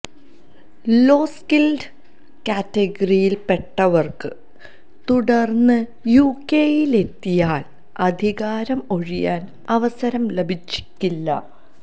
law skilled കാറ്റഗറിയില് പെട്ടവര്ക്ക് തുടര്ന്ന് യുകെയിലെത്തിയാല് അധികാരം ഒഴിയാന് അവസരം ലഭിച്ചേക്കില്ല